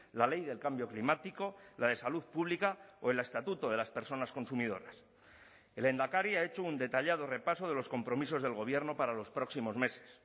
la ley del cambio climático la de salud pública o el estatuto de las personas consumidoras el lehendakari ha hecho un detallado repaso de los compromisos del gobierno para los próximos meses